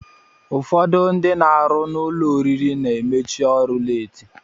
Ụfọdụ ndị na-arụ n'ụlọ oriri na-emechi ọrụ leeti